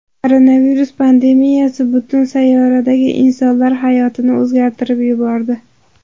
Koronavirus pandemiyasi butun sayyoradagi insonlar hayotini o‘zgartirib yubordi.